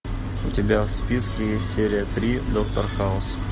у тебя в списке есть серия три доктор хаус